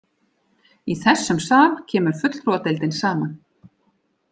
Í þessum sal kemur fulltrúadeildin saman.